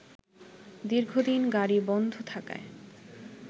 দীর্ঘদিন গাড়ি বন্ধ থাকায়